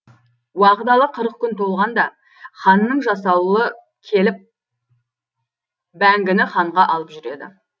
уағдалы қырық күн толғанда ханның жасауылы келіп бәңгіні ханға алып жүреді